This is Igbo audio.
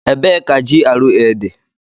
Ebee ka GRA dị?